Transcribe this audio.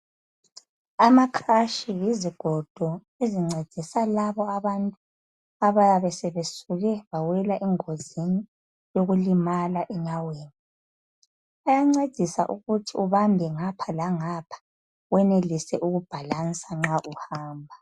Amakrashi yizigodo ezincedisa labo abantu abayabe sebesuke bawela engozini yokulimala enyaweni. Ayancedisa ukuthi ubambe ngapha langapha wenelise ukubhalansa nxa uhamba.